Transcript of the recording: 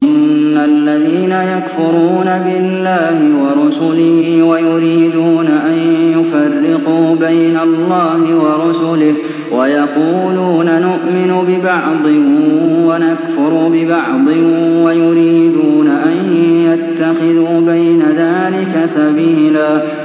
إِنَّ الَّذِينَ يَكْفُرُونَ بِاللَّهِ وَرُسُلِهِ وَيُرِيدُونَ أَن يُفَرِّقُوا بَيْنَ اللَّهِ وَرُسُلِهِ وَيَقُولُونَ نُؤْمِنُ بِبَعْضٍ وَنَكْفُرُ بِبَعْضٍ وَيُرِيدُونَ أَن يَتَّخِذُوا بَيْنَ ذَٰلِكَ سَبِيلًا